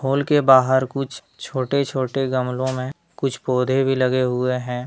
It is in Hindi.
हॉल के बाहर कुछ छोटे-छोटे गमलों में कुछ पौधे भी लगे हुए हैं।